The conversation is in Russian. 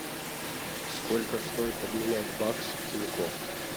сколько стоит обменять бакс в тинькофф